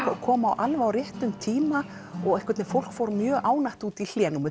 og kom alveg á réttum tíma og fólk fór mjög ánægt út í hlé númer